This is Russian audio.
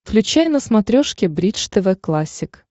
включай на смотрешке бридж тв классик